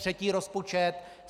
Třetí rozpočet.